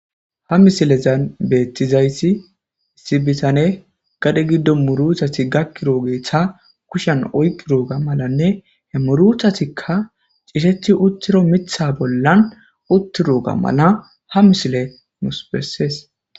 Hamisilen betizayssi gade gidon muruta gakidoga kushiyan oyqidoga ha murutaykka tisheti utida mithata malan utidoga ha misilley besees.